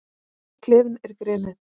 Klefinn er grenið.